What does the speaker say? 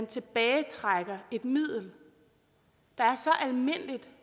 tilbagetrækker et middel der er så almindeligt